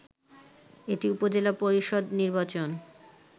এটি উপজেলা পরিষদ নির্বাচন